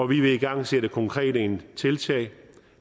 vil igangsætte konkrete tiltag